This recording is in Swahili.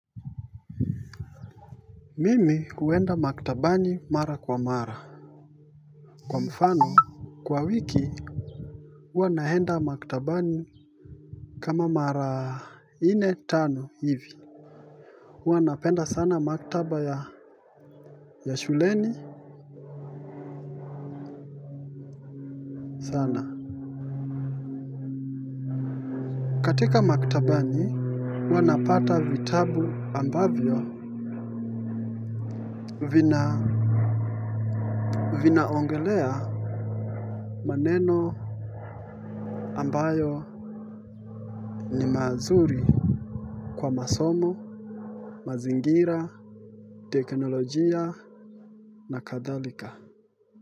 Mimi uenda maktabani mara kwa mara. Kwa mfano kwa wiki huwa naenda maktabani kama mara nne tano hivi. Hua napenda sana maktaba ya shuleni sana. Katika maktabani hua napata vitabu ambavyo vina vinaongelea maneno ambayo ni mazuri kwa masomo mazingira teknolojia na kadhalika.